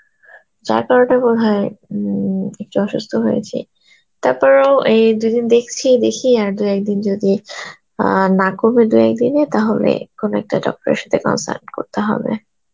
হয় একটু অসুস্থ হয়েছি. তারপরেও এই দুদিন দেখছি বেশি আর দু একদিন যদি অ্যাঁ না কমে দু একদিনে তাহলে একখুনি একটা doctor এর সাথে consult করতে হবে.